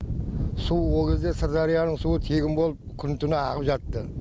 су ол кезде сырдарияның суы тегін болып күні түні ағып жатты